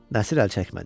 Nəsir əl çəkmədi.